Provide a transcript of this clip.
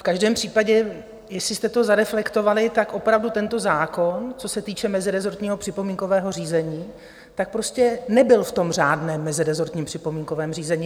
V každém případě, jestli jste to zareflektovali, tak opravdu tento zákon, co se týče mezirezortního připomínkového řízení, tak prostě nebyl v tom řádném mezirezortním připomínkovém řízení.